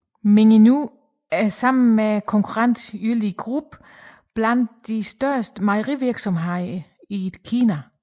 Mengniu er sammen med konkurrenten Yili Group blandt de største mejerivirksomheder i Kina